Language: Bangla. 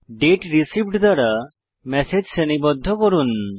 দাতে রিসিভড দ্বারা ম্যাসেজ শ্রেণীবদ্ধ করুন